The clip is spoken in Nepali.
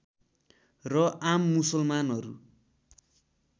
र आम मुसलमानहरू